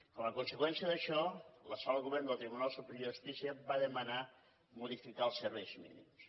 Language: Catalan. com a conseqüència d’això la sala de govern del tribunal superior de justícia va demanar modificar els serveis mínims